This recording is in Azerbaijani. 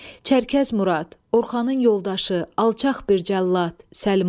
Çərkəz Murad, Orxanın yoldaşı, alçaq bir cəllad!